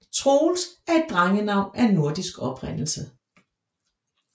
Troels er et drengenavn af nordisk oprindelse